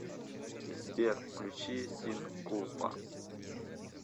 сбер включи син кулпа